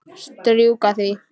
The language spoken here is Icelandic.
Strjúka því.